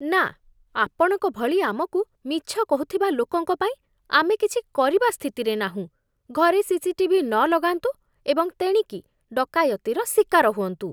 ନା! ଆପଣଙ୍କ ଭଳି ଆମକୁ ମିଛ କହୁଥିବା ଲୋକଙ୍କ ପାଇଁ ଆମେ କିଛି କରିବା ସ୍ଥିତିରେ ନାହୁଁ, ଘରେ ସିସିଟିଭି ନ ଲଗାନ୍ତୁ ଏବଂ ତେଣିକି ଡକାୟତିର ଶିକାର ହୁଅନ୍ତୁ।